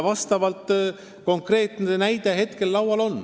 Konkreetne näide on praegu käes.